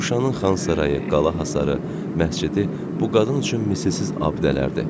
Şuşanın Xan sarayı, qala hasarı, məscidi bu qadın üçün misilsiz abidələrdir.